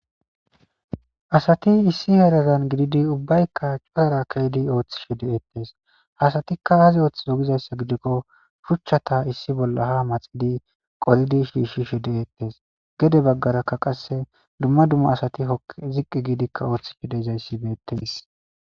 Asati issi heran gididi ubayika habara ke'di othishe de'etes asatika aza othizo gizaysa gidiko shuchata issi bola ha maxidi qolidi shishishe de'etes gede bagaraka qase duma duma asati hokidi ziqi gidika othishe de'zaysi betes.